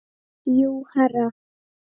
Jú, herra.